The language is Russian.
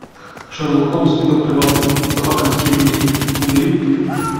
шерлок холмс и доктор ватсон собака баскервилей набери